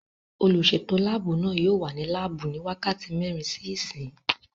Olùsètò láàbù náà yóò wà ní láàbù ní wákàtí mẹ́rin sí ìsín